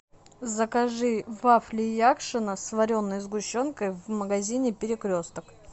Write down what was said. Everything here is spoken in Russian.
закажи вафли якшино с вареной сгущенкой в магазине перекресток